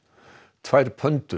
tvær